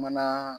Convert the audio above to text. Mana